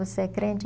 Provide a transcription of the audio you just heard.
Você é crente?